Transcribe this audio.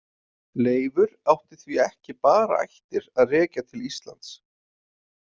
Leifur átti því ekki bara ættir að rekja til Íslands.